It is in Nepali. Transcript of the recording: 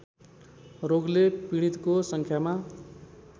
रोगले पीडितको सङ्ख्यामा